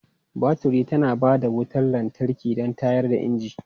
Baturi tana ba da wutar lantarki don tayar da inji.